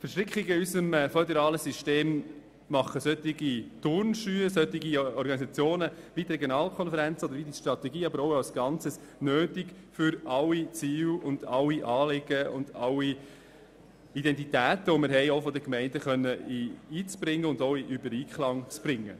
Verstrickungen in unserem föderalen System machen solche Organisationen wie die Regionalkonferenzen oder wie die Strategie, aber auch als Ganzes, nötig, um alle Ziele, alle Anliegen und alle Identitäten, auch seitens der Gemeinden einzubringen und in Einklang zu bringen.